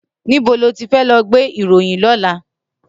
Nibó ló ti fè lò gbé iróyin lòlá?